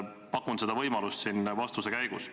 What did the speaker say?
Pakun seda võimalust selle vastuse käigus.